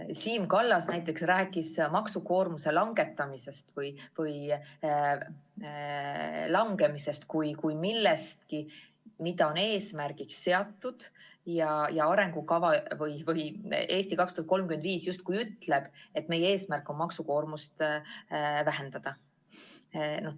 Siim Kallas rääkis maksukoormuse langetamisest või langemisest kui millestki, mis on eesmärgiks seatud – "Eesti 2035" justkui ütleb, et meie eesmärk on maksukoormust vähendada.